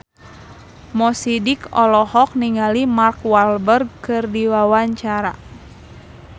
Mo Sidik olohok ningali Mark Walberg keur diwawancara